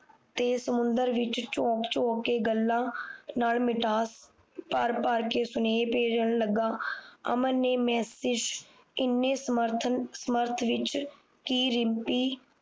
ਤੇ ਸਮੁੰਦਰ ਵਿੱਚ ਕ ਗੱਲਾਂ ਨਾਲ ਮਿਠਾਸ ਭਾਰ ਭਾਰ ਕ ਸੁਨੇਹੇ ਭੇਜਣ ਲਗਾ ਅਮਨ ਨੇ ਮੈਸਜ ਇਨੇ ਸਮਰੱਥਣ ਸਮਰੱਥ ਵਿੱਚ ਕੀ ਰਿਮਪੀ